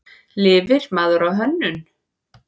Lifir maður á hönnun?